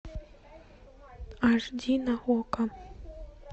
аш ди на окко